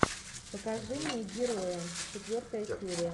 покажи мне герои четвертая серия